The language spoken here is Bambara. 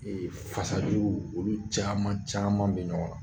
fasajuru olu caaman caaman be ɲɔgɔn ŋa.